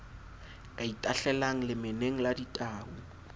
ka itahlelang lemeneng la ditau